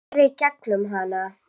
Sér í gegnum hana.